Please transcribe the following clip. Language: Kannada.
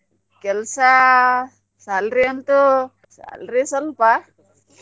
ಕೆಲ್ಸಾ salary ಅಂತು salary ಸ್ವಲ್ಪ .